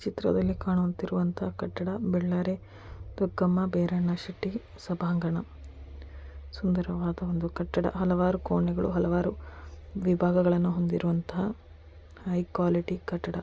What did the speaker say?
ಚಿತ್ರದಲ್ಲಿ ಕಾಣುತ್ತಿರುವಂತಹ ಕಟ್ಟಡ ಬಳ್ಳಾರಿ ಬೈರಣ್ಣ ಶೆಟ್ಟಿ ಸಭಾಂಗಣ ಸುಂದರವಾದ ಒಂದು ಕಟ್ಟಡ ಹಲವಾರು ಕೋಣೆಗಳು ಹಲವಾರು ವಿಭಾಗಗಳನ್ನು ಹೊಂದಿರುವಂತಹ ಹೈ ಕ್ವಾಲಿಟಿ ಕಟ್ಟಡ.